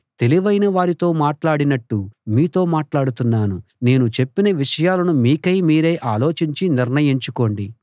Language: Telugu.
తెలివైన వారితో మాట్లాడినట్టు మీతో మాట్లాడుతున్నాను నేను చెప్పిన విషయాలను మీకై మీరే ఆలోచించి నిర్ణయించుకోండి